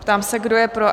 Ptám se, kdo je pro?